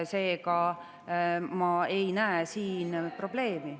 Seega ma ei näe siin probleemi.